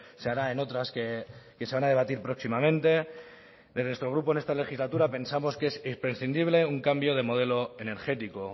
se hará en otras que se van a debatir próximamente de nuestro grupo en esta legislatura pensamos que es imprescindible un cambio de modelo energético